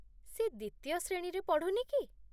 ସେ ଦ୍ୱିତୀୟ ଶ୍ରେଣୀରେ ପଢ଼ୁନି କି?